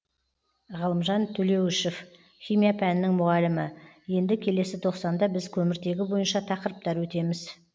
ғалымжан төлеуішев химия пәнінің мұғалімі енді келесі тоқсанда біз көміртегі бойынша тақырыптар өтеміз